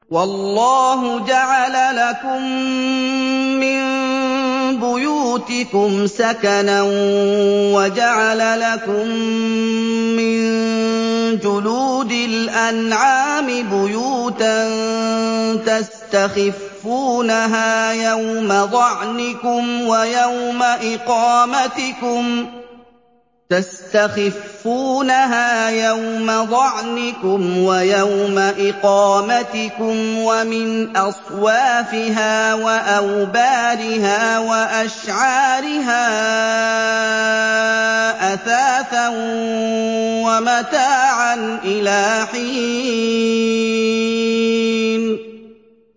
وَاللَّهُ جَعَلَ لَكُم مِّن بُيُوتِكُمْ سَكَنًا وَجَعَلَ لَكُم مِّن جُلُودِ الْأَنْعَامِ بُيُوتًا تَسْتَخِفُّونَهَا يَوْمَ ظَعْنِكُمْ وَيَوْمَ إِقَامَتِكُمْ ۙ وَمِنْ أَصْوَافِهَا وَأَوْبَارِهَا وَأَشْعَارِهَا أَثَاثًا وَمَتَاعًا إِلَىٰ حِينٍ